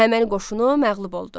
Əhəməni qoşunu məğlub oldu.